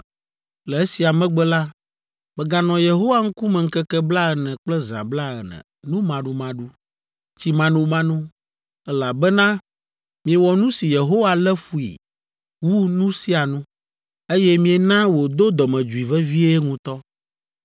Le esia megbe la, meganɔ Yehowa ŋkume ŋkeke blaene kple zã blaene numaɖumaɖu, tsimanomano, elabena miewɔ nu si Yehowa lé fui wu nu sia nu, eye miena wòdo dɔmedzoe vevie ŋutɔ.